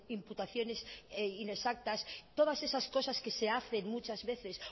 imputaciones inexactas todas esas cosas que se hacen muchas veces